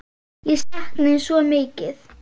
Ég sakna þín svo mikið.